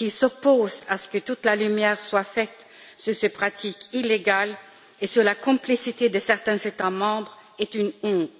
et s'opposent à ce que toute la lumière soit faite sur ces pratiques illégales et la complicité de certains États membres est une honte.